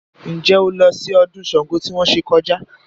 Ǹjẹ́ o lọ sí ọdún Ṣàngó tí wọ́n ṣe kọjá?